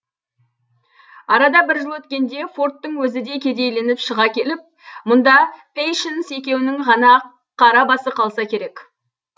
арада бір жыл өткенде фордтың өзі де кедейленіп шыға келіп мұнда пейшнс екеуінің ғана қара басы қалса керек